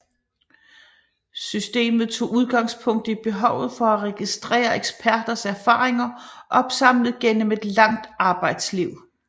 Systemet tog udgangspunkt i behovet for at registrere eksperters erfaringer opsamlet gennem et langt arbejdsliv